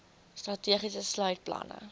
strategie sluit planne